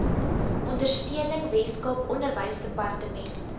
ondersteuning weskaap onderwysdepartement